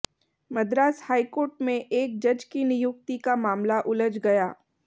Madras high court में एक जज की नियुक्ति का मामला उलझ गया